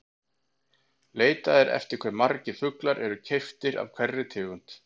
Leitað er eftir hve margir fuglar eru keyptir af hverri tegund.